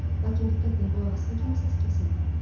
Lakin diqqətlə qulaq asan kimi səs kəsildi.